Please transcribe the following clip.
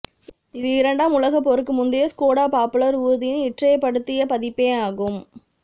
இது இரண்டாம் உலகப் போருக்கு முந்தைய ஸ்கோடா பாப்புலர் ஊர்தியின் இற்றைப்படுத்திய பதிப்பேயாகும்